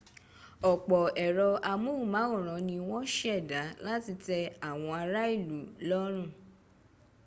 ọ̀pọ̀ ẹ̀rọ amóhùnmáwòrán ni wọ́n ṣẹ̀dá láti tẹ́ àwọn ará ìlú lọ́rùn